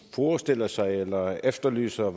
forestiller sig eller efterlyser